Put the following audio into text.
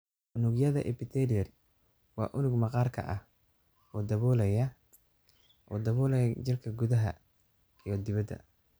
Unugyada Epithelial waa unug maqaarka ah, oo daboolaya oo daboolaya jirka gudaha iyo dibaddaba.